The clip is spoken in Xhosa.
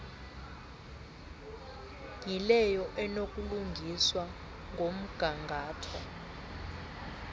yileyo enokulungiswa ngomgangatho